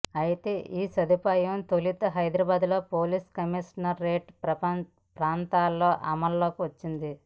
అయితే ఈ సదుపాయం తొలుత హైదరాబాద్ పోలీస్ కమిషనరేట్ ప్రాంతంలో అమల్లోకి వచ్చింది